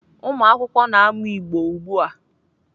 Ụmụakwụkwọ na-amụ Igbo ugbu a.